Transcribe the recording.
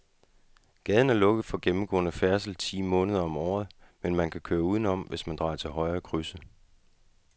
Gaden er lukket for gennemgående færdsel ti måneder om året, men man kan køre udenom, hvis man drejer til højre i krydset.